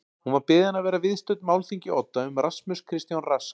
Hún var beðin að vera viðstödd málþing í Odda um Rasmus Kristján Rask